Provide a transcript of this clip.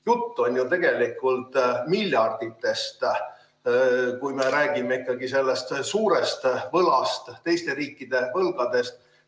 Jutt on ju tegelikult miljarditest, kui me räägime ikkagi sellest suurest võlast, teiste riikide võlgadest.